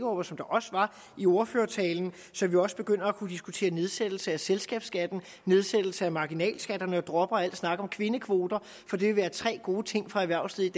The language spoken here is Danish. og som også var i ordførertalen så vi også begynder at kunne diskutere nedsættelse af selskabsskatten nedsættelse af marginalskatterne og at kunne droppe al snak om kvindekvoter for det vil være tre gode ting for erhvervslivet